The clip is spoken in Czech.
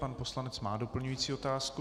Pan poslanec má doplňující otázku.